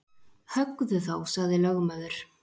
Höggðu þá, sagði lögmaður.